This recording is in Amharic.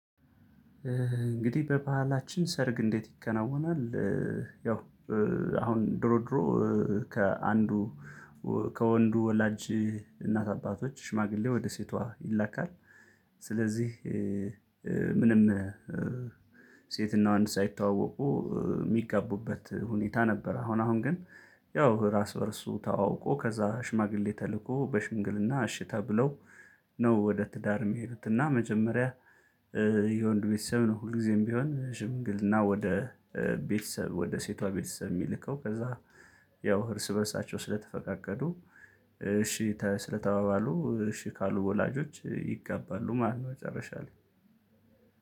እንግዲህ በባህላችን ሰርግ እንዴት ይከናወናል? ያው አሁን ድሮ ድሮ ከአንዱ ከወንዱ ወላጅ እናት አባቶች ሽማግሌ ወደ ሴቷ ይላካል። ስለዚህ ምንም ሴትና ወንድ ሳይተዋወቁ የሚጋቡበት ሁኔታ ነበር። አሁን አሁን ግን ያው እርስ በእርሱ ተዋውቆ ከዛ ሽማግሌ ተልኮ በሽምግልና እሺ ተብለው ነው። ወደ ትዳር የሚሄዱትና መጀመሪያ። የወንዱ ቤተሰብ ነው ሁልጊዜም ቢሆን ሽምግልና ወደ ቤተሰብ ወደ ሴቷ ቤተሰብ የሚልከው። ከዛ ያው እርስ በእርሳቸው ስለተፈቃቀዱ እሺ ስለተባባሉ እሺ ካሉ ወላጆች ይገባሉ ማለት ነው። መጨረሻ ላይ